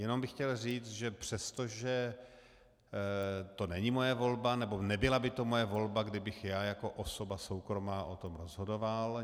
Jenom bych chtěl říct, že přestože to není moje volba, nebo nebyla by to moje volba, kdybych já jako osoba soukromá o tom rozhodoval.